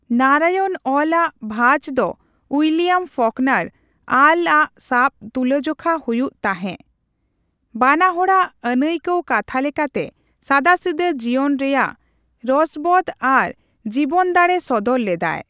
ᱱᱟᱨᱟᱭᱚᱱ ᱚᱞ ᱟᱜ ᱵᱷᱟᱪ ᱫᱚ ᱩᱭᱞᱤᱭᱟᱢ ᱯᱷᱚᱠᱱᱟᱨ ᱟᱞ ᱟᱜ ᱥᱟᱣ ᱛᱩᱞᱟᱹᱡᱚᱠᱷᱟ ᱦᱩᱭᱩᱜ ᱛᱟᱦᱮᱜ ᱾ ᱵᱟᱱᱟᱦᱚᱲᱟᱜ ᱟᱱᱟᱹᱭᱠᱟᱣ ᱠᱟᱛᱷᱟ ᱞᱮᱠᱟᱛᱮ ᱥᱟᱫᱟᱥᱤᱫᱟᱹ ᱡᱤᱭᱚᱱ ᱨᱮᱭᱟᱜ ᱨᱚᱥᱵᱚᱫ ᱟᱨ ᱡᱤᱵᱚᱱᱫᱟᱲᱮ ᱥᱚᱫᱚᱨ ᱞᱮᱫᱟᱭ ᱾